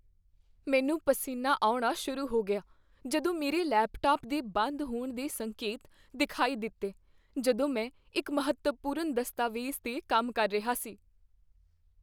ਮੈਨੂੰ ਪਸੀਨਾ ਆਉਣਾ ਸ਼ੁਰੂ ਹੋ ਗਿਆ ਜਦੋਂ ਮੇਰੇ ਲੈਪਟਾਪ ਦੇ ਬੰਦ ਹੋਣ ਦੇ ਸੰਕੇਤ ਦਿਖਾਈ ਦਿੱਤੇ ਜਦੋਂ ਮੈਂ ਇੱਕ ਮਹੱਤਵਪੂਰਨ ਦਸਤਾਵੇਜ਼ 'ਤੇ ਕੰਮ ਕਰ ਰਿਹਾ ਸੀ।